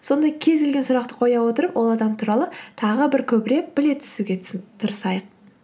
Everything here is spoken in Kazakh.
сондай кез келген сұрақты қоя отырып ол адам туралы тағы бір көбірек біле түсуге тырысайық